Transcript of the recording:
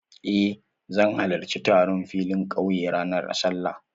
Eh, zan halarci taron filin ƙauya ranar Sallah.